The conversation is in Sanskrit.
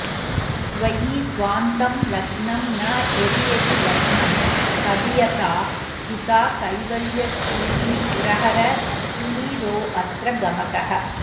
त्वयि स्वान्तं लग्नं न यदि यदि लग्नं तदियता जिता कैवल्यश्रीः पुरहर कुळीरोऽत्र् गमकः